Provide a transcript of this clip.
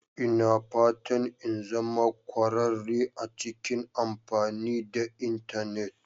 Ina fatan in zama kwararre a cikin amfani da Intanet